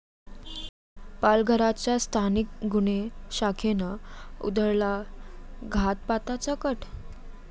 पालघरच्या स्थानिक गुन्हे शाखेनं उधळला घातपाताचा कट?